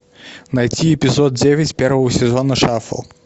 найти эпизод девять первого сезона шафл